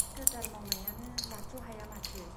ठिकादार मावनायानो लाथ्र' हाया माथो !